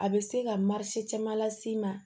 A bɛ se ka caman las'i ma